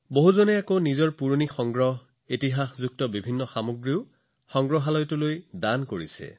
বহুলোকে তেওঁলোকৰ পুৰণি সংগ্ৰহ আনকি ঐতিহাসিক বস্তুবোৰ সংগ্ৰহালয়লৈ দান কৰি আহিছে